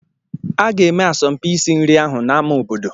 A ga-eme asọmpi isi nri ahụ n'ámá obodo.